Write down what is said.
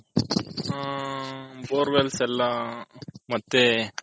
ಹಾ borewells ಎಲ್ಲಾ ಮತ್ತೆ